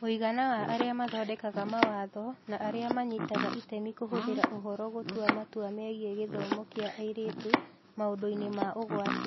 Mũigana wa arĩa mathondekaga mawatho na arĩa manyitaga itemi kũhũthĩra ũhoro gũtua matua megiĩ gĩthomo kĩa airĩtu maũndũ-inĩ ma ũgwati.